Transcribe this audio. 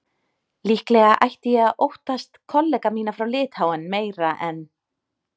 Líklega ætti ég að óttast kollega mína frá Litháen meira en